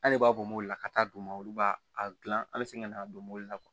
An de b'a bɔ mobili la ka taa d'u ma olu b'a a dilan an bɛ segin ka na don mobili la